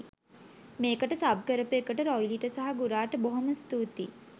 මේකට සබ් කරපු එකට රොයිලිට සහ ගුරාට බොහොම ස්තුතියි.